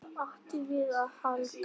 Hvað áttum við að halda?